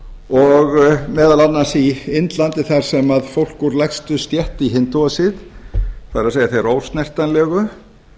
og meðal annars í indlandi þar sem fólk úr lægstu stétt í hindúasið það er þeir ósnertanlegu